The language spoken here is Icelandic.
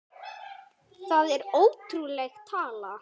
Það er ótrúleg tala.